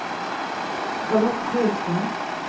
Charlotte Högström